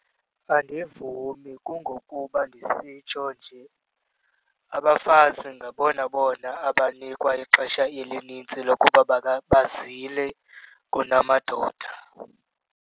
Andivumi kungokuba ndisitsho nje, abafazi ngabona bona abanikwa ixesha elinintsi lokuba bazile kunamadoda.